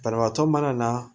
Banabaatɔ mana na